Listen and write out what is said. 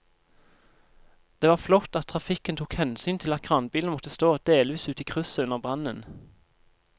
Det var flott at trafikken tok hensyn til at kranbilen måtte stå delvis ute i krysset under brannen.